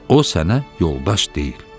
O sənə yoldaş deyil.